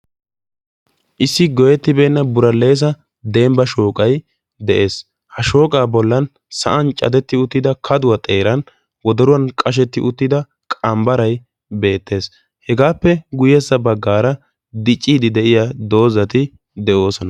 issi goyyettibeenna buralleessa dembba shooqay de'es. ha shooqay sa'an cadetti uttida kaduwa wodoruwan qashetti uttida qambbaray beettes. hegaappe sintta baggaara dicciiddi de'iya dozzati de'oosona.